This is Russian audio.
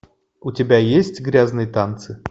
у тебя есть грязные танцы